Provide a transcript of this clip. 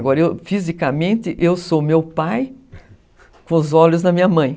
Agora, fisicamente, eu sou meu pai com os olhos da minha mãe.